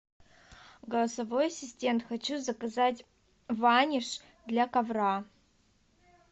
голосовой ассистент хочу заказать ваниш для ковра